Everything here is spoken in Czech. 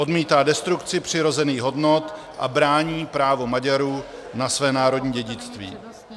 Odmítá destrukci přirozených hodnot a brání právo Maďarů na své národní dědictví.